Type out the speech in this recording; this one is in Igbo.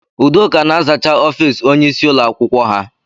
Udoka na-azacha ọfiisi ónyé ịsị ụlọ akwụkwọ ha.